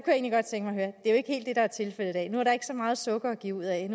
er tilfældet i dag nu er der ikke så meget sukker at give ud af